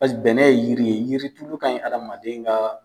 Pase bɛnɛ ye yiri ye yiritulu ka ɲi adama ka.